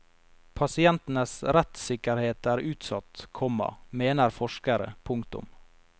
Pasientenes rettssikkerhet er utsatt, komma mener forskere. punktum